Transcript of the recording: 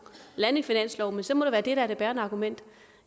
lande en finanslov men så må det være det der er det bærende argument